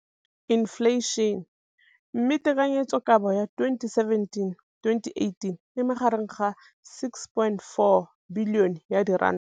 Infleišene, mme tekanyetsokabo ya 2017 le 18 e magareng ga R6.4 bilione.